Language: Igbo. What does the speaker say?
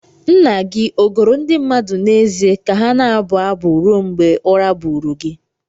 Nna gị ọ goro ndị mmadụ n'ezie ka ha na-abụ abụ ruo mgbe ụra buuru gị?